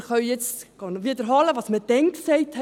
Wir können jetzt wiederholen, was wir damals gesagt haben.